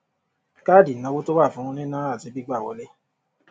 káàdì ìnáwó tó wà fún níná àti gbígbà wọlé